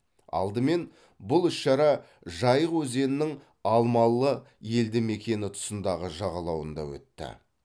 алдымен бұл іс шара жайық өзенінің алмалы елді мекені тұсындағы жағалауында өтті